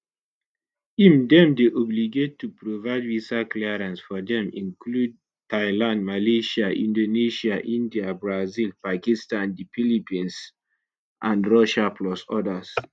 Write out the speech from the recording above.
im dem dey obligated to provide visa clearance for dem include thailand malaysia inAcceptedsia india brazil pakistan the philippines and russia plus odas